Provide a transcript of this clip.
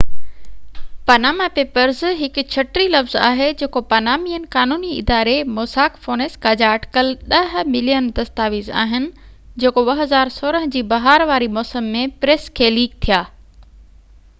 Panama papers هڪ ڇٽي لفظ آهي جيڪو پانامينين قانوني اداري موساڪ فونيسڪا جا اٽڪل ڏهہ ملين دستاويز آهن جيڪو 2016 جي بهار واري موسم ۾ پريس کي ليڪ ٿيا